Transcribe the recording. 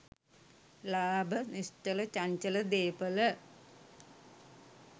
ලාභ, නිශ්චල චංචල දේපළ